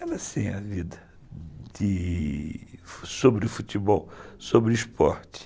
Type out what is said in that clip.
Era assim a vida, de... sobre futebol, sobre esporte.